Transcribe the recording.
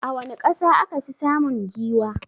A wani ƙasa akafi samun giwa?